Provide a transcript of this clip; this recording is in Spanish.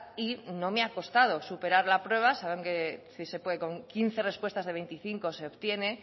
y no me ha costado superar la prueba saben que sí se puede con quince respuestas de veinticinco se obtiene